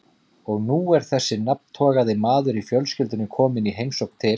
Og nú er þessi nafntogaði maður í fjölskyldunni kominn í heimsókn til